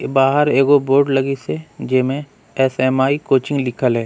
बाहर एगो बोर्ड लगीस है जेमे एस. एम. आई. कोचिंग लिखल है।